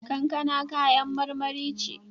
Kankana kayan marmari ce.